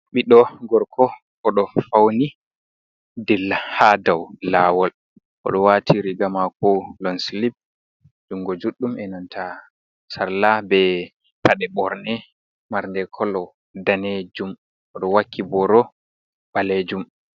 Ɓiɗɗo gorko o ɗo fawni dilla haa dow laawol, o ɗo waati riiga maako loɲ silip junngo juuɗɗum e nanta salla bee paɗe borne marɗe kolo daneejum o ɗo wakki booro ɓaleejum.